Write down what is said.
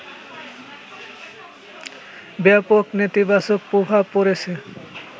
ব্যাপক নেতিবাচক প্রভাব পড়েছে